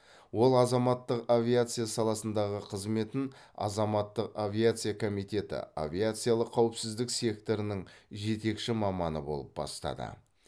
ол азаматтық авиация саласындағы қызметін азаматтық авиация комитеті авиациялық қауіпсіздік секторының жетекші маманы болып бастады